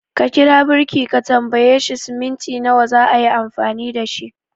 Ka kira birki ka tambaye shi cement nawa zaayi amfani dashi